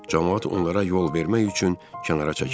Camaat onlara yol vermək üçün kənara çəkildi.